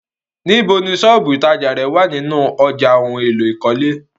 Níbò ni ilẹ́ ìtajà rẹ̀ wá nínu ọ̀já ohun èlò ìkọ́lé?